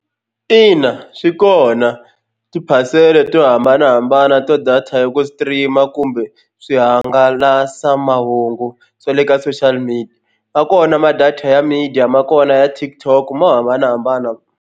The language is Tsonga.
Ina swi kona tiphasela to hambanahambana ta data ya ku stream-a kumbe swihangalasamahungu swa le ka social media ma kona ma data ya media ma kona ya TikTok mo hambanahambana.